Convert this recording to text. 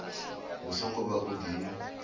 hu songo vha u di